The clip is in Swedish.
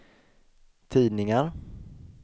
tidningar